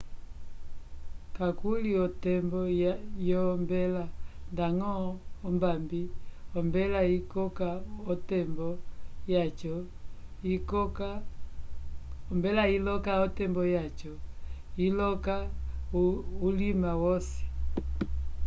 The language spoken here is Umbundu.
kakuli o tembo yombela ndañgo ombambi ombela iloka o tembo yaco iloka ulima wosi